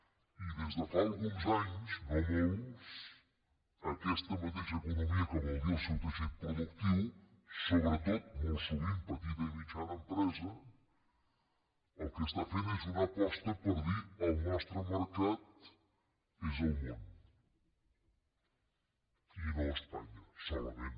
i des de fa alguns anys no molts aquesta mateixa economia que vol dir el seu teixit productiu sobretot molt sovint petita i mitjana empresa el que està fent és una aposta per dir el nostre mercat és el món i no espanya solament